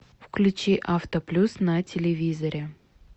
включи авто плюс на телевизоре